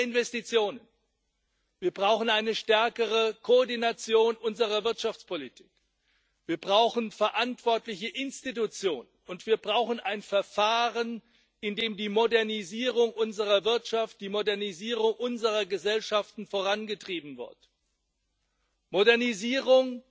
Wir brauchen mehr Investitionen, wir brauchen eine stärkere Koordination unserer Wirtschaftspolitik, wir brauchen verantwortliche Institutionen, und wir brauchen ein Verfahren, in dem die Modernisierung unserer Wirtschaft, die Modernisierung unserer Gesellschaften vorangetrieben wird Modernisierung